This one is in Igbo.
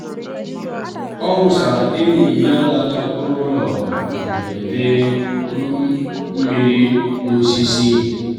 ọ wụsara enyi ya lara ụlọ um mberede um mmiri n'osisi.